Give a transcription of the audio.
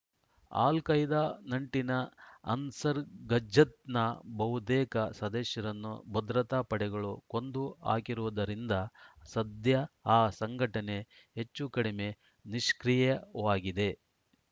al Qaeda ನಂಟಿನ ಅನ್ಸರ್‌ ಗಜ್ಜತ್‌ನ ಬಹುತೇಕ ಸದಸ್ಯರನ್ನು ಭದ್ರತಾ ಪಡೆಗಳು ಕೊಂದು ಹಾಕಿರುವುದರಿಂದ ಸದ್ಯ ಆ ಸಂಘಟನೆ ಹೆಚ್ಚೂಕಡಿಮೆ ನಿಷ್ಕ್ರಿಯವಾಗಿದೆ